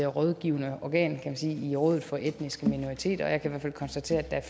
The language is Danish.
rådgivende organ kan man sige i rådet for etniske minoriteter og jeg kan i hvert fald konstatere at